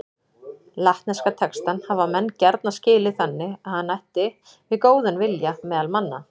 Latneska textann hafa menn gjarna skilið þannig að hann ætti við góðan vilja meðal manna.